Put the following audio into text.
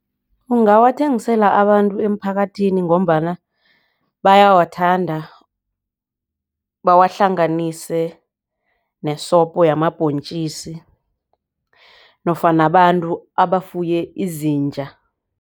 Ungawathengisela abantu emphakathini ngombana bayawathanda bawahlanganise nesobho yamabhontjisi nofana abantu abafunye izinja.